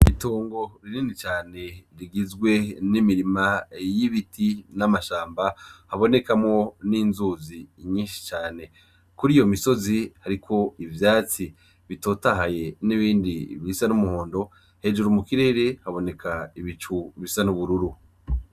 Itongo rinini cane rigizwe n'imirima y'ibiti n'amashamba habonekamwo n'inzuzi nyishi cane kuriyo misozi hariko ivyatsi bitotahaye n'ibindi bisa n'umuhondo hejuru mu kirere haboneka ibicu bisa n'ubururu.